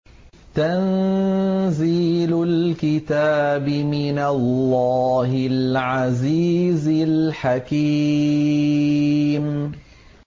تَنزِيلُ الْكِتَابِ مِنَ اللَّهِ الْعَزِيزِ الْحَكِيمِ